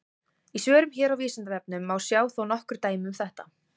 Í svörum hér á Vísindavefnum má sjá þó nokkur dæmi um þetta.